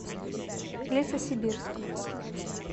лесосибирск